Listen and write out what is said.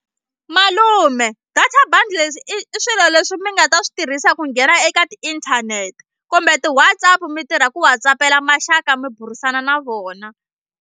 Malume data bundles i i swilo leswi mi nga ta swi tirhisa ku nghena eka tiinthanete kumbe ti-WhatsApp mi tirha ku WhatsApp-ela maxaka mi burisana na vona.